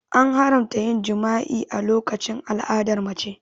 An haramta yin jima'i a lokacin al'adar mace.